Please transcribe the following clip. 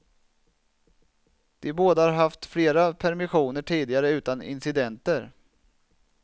De båda har haft flera permissioner tidigare utan incidenter.